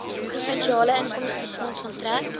provinsiale inkomstefonds onttrek